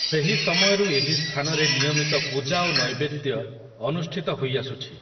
ସେହି ସମୟରୁ ଏହି ସ୍ଥାନରେ ନିୟମିତ ପୂଜା ଓ ନୈବେଦ୍ୟ ଅନୁଷ୍ଠିତ ହୋଇଆସୁଛି ।